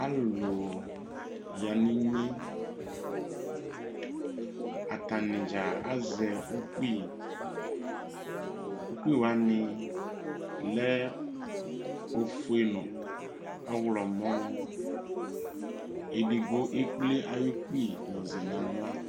alʊlʊ yaninye atani dzaa azɛ ʊkpɩ ʊkpiwanɩ lɛ ofue nu ɔwlɔmɔ edigbo ekple awukpɩ yɔsɛ na ɣla